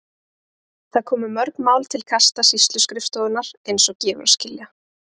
Það komu mörg mál til kasta sýsluskrifstofunnar eins og gefur að skilja.